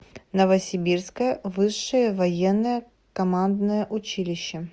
новосибирское высшее военное командное училище